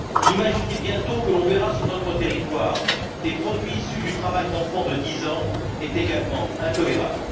Imaginer bientôt que l'on verra sur notre territoire des produits issus du travail d'enfants de 10 ans est également intolérable.